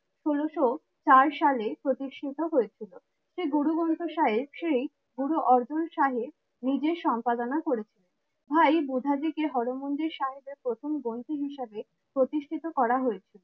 ষোলো শো চার সালে প্রতিষ্ঠিত হয়েছিল। শ্রী গুরুগ্রন্থ সাহেব শ্রী গুরু অর্জুন সাহেব নিজের সম্পাদনা করেছিলেন। ভাই বুধাজী কে হরমন্দির সাহেবের প্রথম গ্রন্থ হিসেবে প্রতিষ্ঠিত করা হয়েছিল।